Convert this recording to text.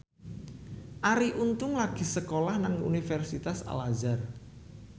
Arie Untung lagi sekolah nang Universitas Al Azhar